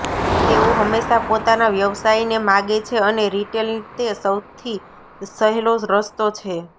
તેઓ હંમેશા પોતાના વ્યવસાયને માગે છે અને રિટેલ તે સૌથી સહેલો રસ્તો છે